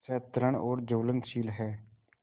सतृष्ण और ज्वलनशील है